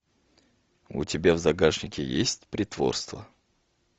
у тебя в загашнике есть притворство